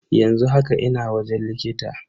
Yanzu haka ina wajen likita.